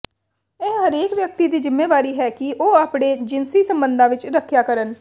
ਇਹ ਹਰੇਕ ਵਿਅਕਤੀ ਦੀ ਜ਼ਿੰਮੇਵਾਰੀ ਹੈ ਕਿ ਉਹ ਆਪਣੇ ਜਿਨਸੀ ਸੰਬੰਧਾਂ ਵਿੱਚ ਰੱਖਿਆ ਕਰਨ